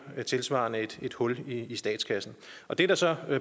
tilsvarende et et hul i statskassen det er der så